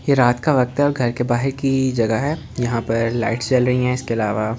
यह रात का वक्त है और घर के बाहर की जगह है यहां पर लाइट्स चल रही है इसके अलावा ।